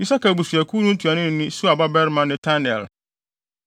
Isakar abusuakuw no ntuanoni ne Suar babarima Netanel;